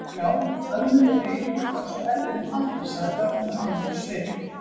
Já, ömmur eru yfirleitt á svo erfiðum aldri sagði Örn með alvörusvip.